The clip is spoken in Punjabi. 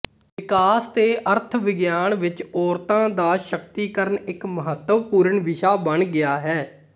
ਵਿਕਾਸ ਤੇ ਅਰਥ ਵਿਗਿਆਨ ਵਿੱਚ ਔਰਤਾਂ ਦਾ ਸ਼ਕਤੀਕਰਨ ਇੱਕ ਮਹੱਤਵਪੂਰਨ ਵਿਸ਼ਾ ਬਣ ਗਿਆ ਹੈ